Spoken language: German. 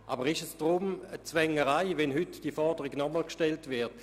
Aber ist es deshalb eine Zwängerei, wenn heute diese Forderung nochmals gestellt wird?